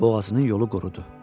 Boğazının yolu qurudu.